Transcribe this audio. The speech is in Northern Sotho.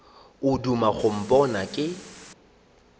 o duma go mpona ke